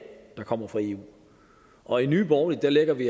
der kommer fra eu og i nye borgerlige lægger vi